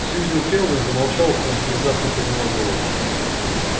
сьюзен кэлвин замолчала потом внезапно подняла голову